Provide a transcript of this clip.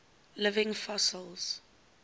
living fossils